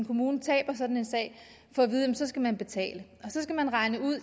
kommunen taber sådan en sag få at vide at så skal man betale så skal man regne ud